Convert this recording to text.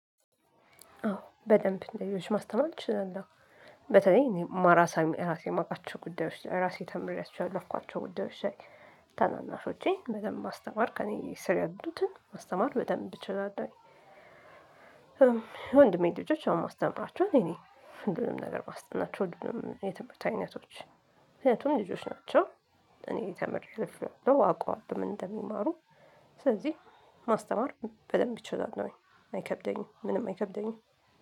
አዎ በደንብ ለሌሎች ማስተማር እችላለሁ። በተለይ እኔ ማራሳ እራሴ እማውቃቸው ጉዳዮች ራሴ ተምሬያቸው ያለፍኳቸው ጉዳዮች ላይ። ታናናሾቼን በደንብ ማስተማር ከእኔ ስር ያሉትን ማስተማር በደንብ እችላለሁኝ ወንድሜን ልጆች ያው እማስተምራቸውም እኔ ነኝ ሁሉንም ነገር ማስጠናቸው ሁሉንም የትምህርት አይነቶች። ምክንያቱም ልጆች ናቸው። እኔ ተምሬ አልፌዋለው አቀዋለው ምን እንደሚማሩ። ስለዚህ ማስተማር በደንብ እችላለሁኝ አይከብደኝም ምንም አይከብደኝም።